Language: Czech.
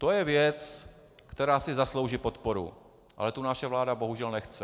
To je věc, která si zaslouží podporu, ale tu naše vláda bohužel nechce.